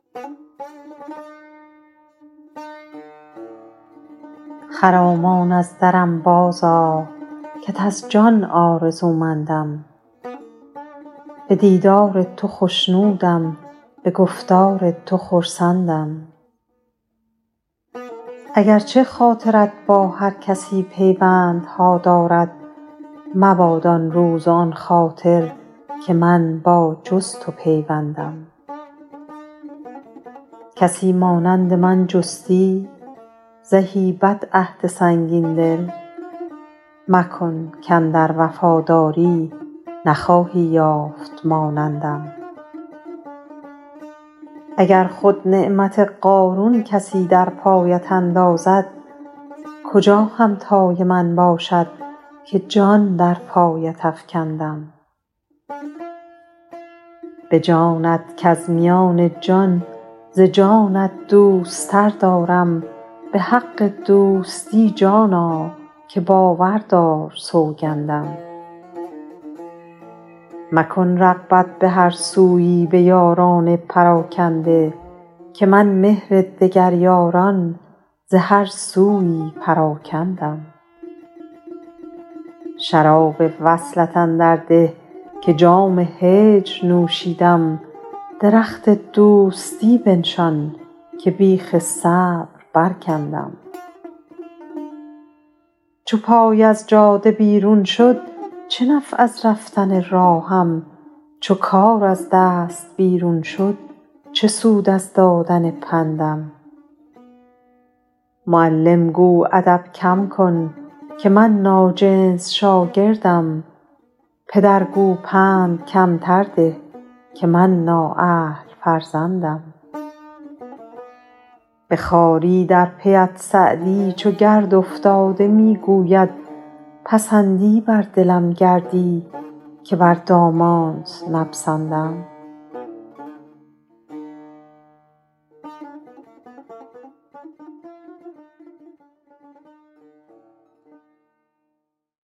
خرامان از درم بازآ کت از جان آرزومندم به دیدار تو خوشنودم به گفتار تو خرسندم اگر چه خاطرت با هر کسی پیوندها دارد مباد آن روز و آن خاطر که من با جز تو پیوندم کسی مانند من جستی زهی بدعهد سنگین دل مکن کاندر وفاداری نخواهی یافت مانندم اگر خود نعمت قارون کسی در پایت اندازد کجا همتای من باشد که جان در پایت افکندم به جانت کز میان جان ز جانت دوست تر دارم به حق دوستی جانا که باور دار سوگندم مکن رغبت به هر سویی به یاران پراکنده که من مهر دگر یاران ز هر سویی پراکندم شراب وصلت اندر ده که جام هجر نوشیدم درخت دوستی بنشان که بیخ صبر برکندم چو پای از جاده بیرون شد چه نفع از رفتن راهم چو کار از دست بیرون شد چه سود از دادن پندم معلم گو ادب کم کن که من ناجنس شاگردم پدر گو پند کمتر ده که من نااهل فرزندم به خواری در پی ات سعدی چو گرد افتاده می گوید پسندی بر دلم گردی که بر دامانت نپسندم